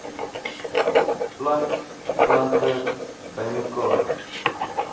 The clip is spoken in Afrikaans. plant plante bymekaar